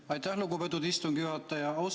Aitäh, lugupeetud istungi juhataja!